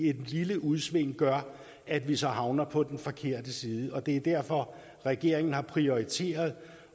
et lille udsving gør at vi så havner på den forkerte side det er derfor regeringen har prioriteret